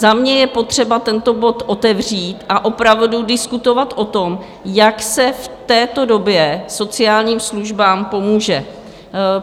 Za mě je potřeba tento bod otevřít a opravdu diskutovat o tom, jak se v této době sociálním službám pomůže.